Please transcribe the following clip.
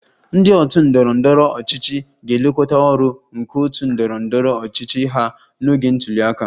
Ndị otu ndọrọ ndọrọ ọchịchị ga-elekọta ọrụ nke otu ndọrọ ndọrọ ọchịchị ha n'oge ntuli aka